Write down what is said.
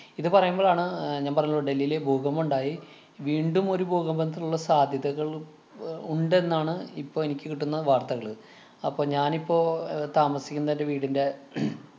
ഇത് പറയുമ്പളാണ്‌ അഹ് ഞാന്‍ പറഞ്ഞല്ലോ ഡൽഹിയില് ഭൂകമ്പം ഉണ്ടായി. വീണ്ടും ഒരു ഭൂകമ്പത്തിനുള്ള സാധ്യതകള്‍ അഹ് ഉണ്ടെന്നാണ് ഇപ്പൊ എനിക്ക് കിട്ടുന്ന വാര്‍ത്തകള്. അപ്പൊ ഞാനിപ്പോ അഹ് താമസിക്കുന്ന എന്‍റെ വീടിന്‍റെ